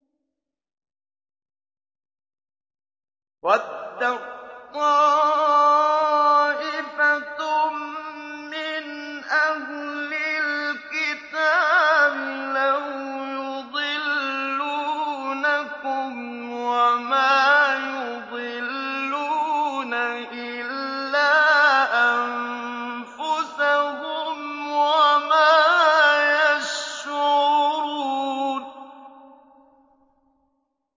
وَدَّت طَّائِفَةٌ مِّنْ أَهْلِ الْكِتَابِ لَوْ يُضِلُّونَكُمْ وَمَا يُضِلُّونَ إِلَّا أَنفُسَهُمْ وَمَا يَشْعُرُونَ